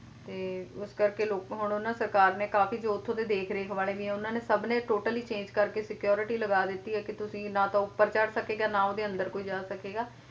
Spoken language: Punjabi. ਤੇ ਇਸ ਕਰਕੇ ਲੋਕੋ ਹੁਣ ਨਾ ਸਰਕਾਰ ਨੇ ਕਾਫੀ ਜੋ ਉੱਥੋਂ ਦੇ ਦੇਖ ਰੇਖ ਵਾਲੇ ਵੀ ਆ ਉਹਨਾਂ ਸਭ ਨੇ totally change ਕਰਕੇ security ਲਗਾ ਦਿੱਤੀ ਆ ਕੇ ਤੁਸੀ ਨਾ ਤਾ ਉੱਪਰ ਚੜ ਸਕੇਗਾ ਨਾ ਉਹਦੇ ਅੰਦਰ ਕੋਈ ਜਾ ਸਕੇਗਾ।